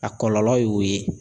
A kɔlɔlɔ y'o ye.